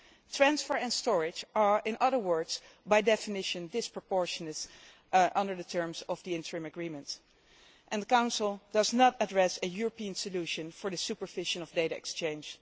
Transfer and storage are, in other words, by definition disproportionate under the terms of the interim agreement and the Council does not address a European solution for the supervision of data exchange.